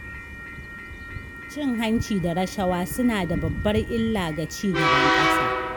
Cin hanci da rashawa suna da babbar illa ga ci gaban ƙasa.